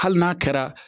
Hali n'a kɛra